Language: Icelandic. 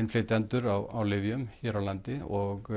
innflytjendur á lyfjum hér á landi og